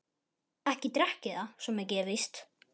Ekki drekk ég það, svo mikið er víst.